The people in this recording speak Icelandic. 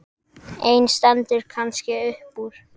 Ein stendur kannski upp úr.